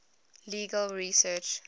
legal research